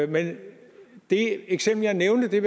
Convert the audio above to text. men det eksempel jeg nævnte vil